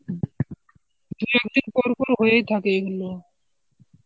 দুই একদিন পরপর হয়েই থাকে এগুলো